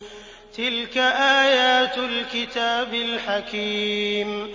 تِلْكَ آيَاتُ الْكِتَابِ الْحَكِيمِ